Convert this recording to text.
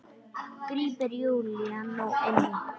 grípur Júlía nú inn í.